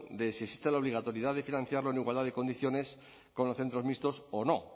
de si existe la obligatoriedad de financiarlo en igualdad de condiciones con los centros mixtos o no